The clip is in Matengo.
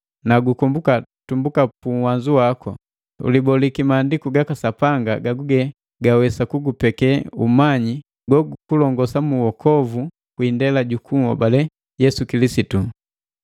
na gukomboka tumbuka umwana waku, uliboliki Maandiku gaka Sapanga gaguge gawesa kugupeke umanyi gogukulongosa mu uokovu kwi indela jukunhobale Yesu Kilisitu.